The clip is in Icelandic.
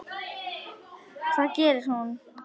Það gerir hún.